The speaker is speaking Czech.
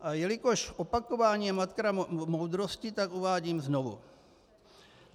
A jelikož opakování je matka moudrosti, tak uvádím znovu.